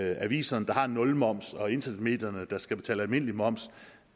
aviserne der har en nulmoms og internetmedierne der skal betale almindelig moms